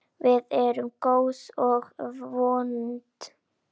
Við erum góð og vond.